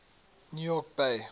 new york bay